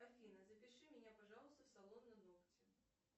афина запиши меня пожалуйста в салон на ногти